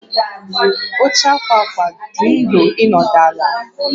Oche ákwà ákwà dị nro ịnọdụ ala